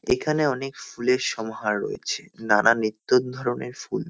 এখানে অনেক ফুলের সমাহার রয়েছে। নানা নিত্য ধরণের ফুল।